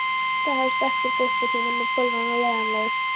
Það hefst ekkert uppúr því nema bölvun og leiðangur!